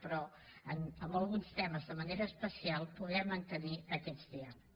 però en alguns temes de manera especial poder mantenir aquest diàleg